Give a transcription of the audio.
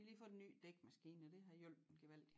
De har lige fået en ny dækmaskine og det har hjulpet gevaldig